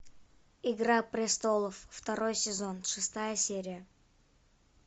игра престолов второй сезон шестая серия